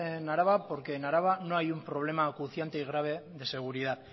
en araba porque en araba no hay un problema acuciante y grave de seguridad